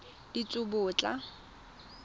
ditsobotla